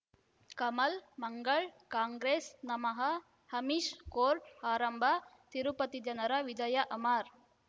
Kamal Mangal Congress ನಮಃ Amish court ಆರಂಭ ತಿರುಪತಿ ಜನರ ವಿಜಯ ಅಮರ್